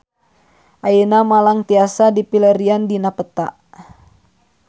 Ayeuna Malang tiasa dipilarian dina peta